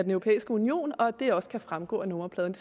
europæiske union og at det også kan fremgå af nummerpladen